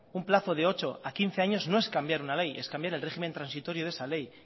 un plazo de ocho a quince años no es cambiar una ley es cambiar el régimen transitorio de esa ley